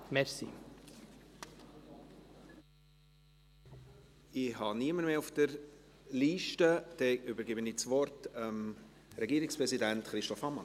Ich habe niemanden mehr auf der Liste und übergebe das Wort dem Regierungspräsidenten Christoph Ammann.